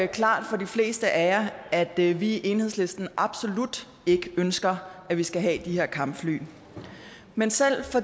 klart for de fleste af jer at vi vi i enhedslisten absolut ikke ønsker at vi skal have de her kampfly men selv